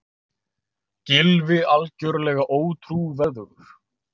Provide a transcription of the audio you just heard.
Gylfi algjörlega ótrúverðugur